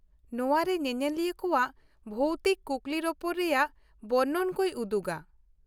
ᱱᱚᱶᱟ ᱨᱮ ᱧᱮᱧᱮᱞᱤᱭᱟ. ᱠᱚᱣᱟᱜ ᱵᱷᱳᱣᱛᱤᱠ ᱠᱩᱠᱞᱤᱨᱚᱯᱚᱲ ᱨᱮᱭᱟᱜ ᱵᱚᱨᱱᱚᱱ ᱠᱚᱭ ᱩᱫᱩᱜᱟ ᱾